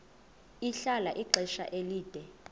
ahlala ixesha elide